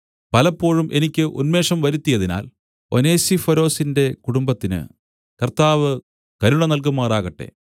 പലപ്പോഴും എനിക്ക് ഉന്മേഷം വരുത്തിയതിനാൽ ഒനേസിഫൊരൊസിന്റെ കുടുംബത്തിന് കർത്താവ് കരുണ നല്കുമാറാകട്ടെ